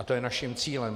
A to je naším cílem.